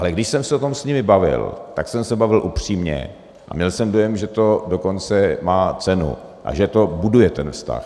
Ale když jsem se o tom s nimi bavil, tak jsem se bavil upřímně a měl jsem dojem, že to dokonce má cenu a že to buduje ten vztah.